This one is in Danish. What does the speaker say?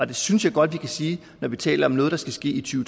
det synes jeg godt vi kan sige når vi taler om noget der skal ske i to